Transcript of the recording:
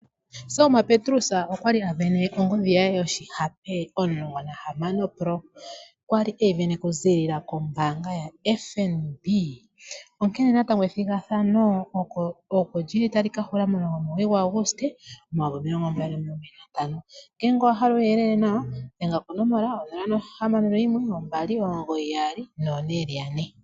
Selma Petrus okwa li a sindana ongodhi ye yoshihape 16 Pro, okuziilila kombaanga yoFNB. Natango ethigathano ina li hula, ihe otali ka hula 19 Auguste 2025. Ngele owa hala uuyelele owundji dhenga ko 0612994444